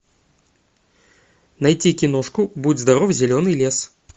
найти киношку будь здоров зеленый лес